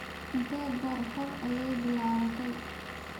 Intee goor hore ayay bilaabatay?